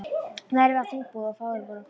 Veðrið var þungbúið og fáir voru á ferli.